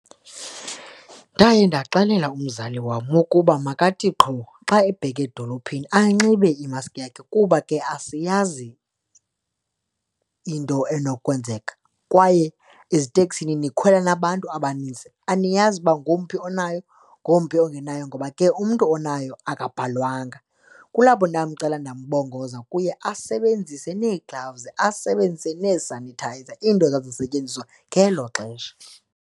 Ndaye ndaxelela umzali wam wokuba makathi qho xa ebheka edolophini anxibe imaski yakhe kuba ke asiyazi into enokwenzeka. Kwaye eziteksini nikhwela nabantu abanintsi, aniyazi uba ngowumphi onayo, ngowumphi ongenayo ngoba ke umntu onayo akabhalwanga. Kulapho ndamcela ndimbongoza kuye asebenzise nee-gloves, asebenzise nee-sanitizer into zazisetyenziswa ngelo xesha.